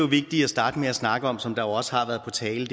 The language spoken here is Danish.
vigtigt at starte med at snakke om og som der jo også har været på tale